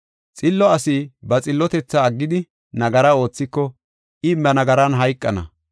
Xillo asi ba xillotethaa aggidi, nagara oothiko, I ba nagaran hayqana.